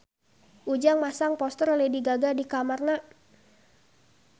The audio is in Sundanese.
Ujang masang poster Lady Gaga di kamarna